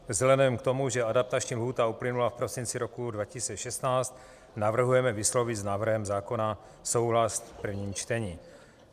Vzhledem k tomu, že adaptační lhůta uplynula v prosinci roku 2016, navrhujeme vyslovit s návrhem zákona souhlas v prvním čtení.